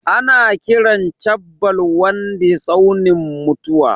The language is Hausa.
Ana kiran chabbal waddi tsaunin mutuwa.